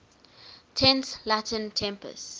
tense latin tempus